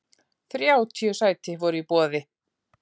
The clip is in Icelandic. Þrjátíu sæti voru í boði.